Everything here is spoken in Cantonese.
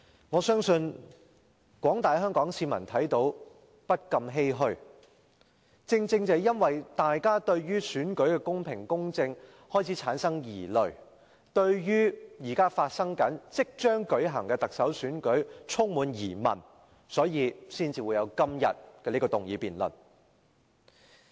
我相信廣大的香港市民看到都不禁欷歔，正是由於大家對於選舉的公平、公正開始產生疑慮，對於現正進行的競選活動及即將舉行的特首選舉充滿疑問，所以才會有今天這項議案辯論。